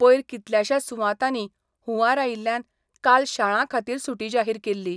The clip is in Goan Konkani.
पयर कितल्याशाच सुवातांनी हुंवार आयिल्ल्यान काल शाळां खातीर सुटी जाहीर केल्ली.